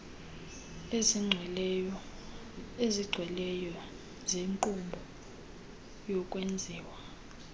ezigcweleyo zenkqubo yokwenziwa